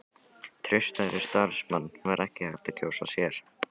Traustari samstarfsmann var ekki hægt að kjósa sér.